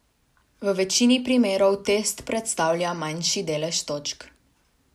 V večini primerov test predstavlja manjši delež točk.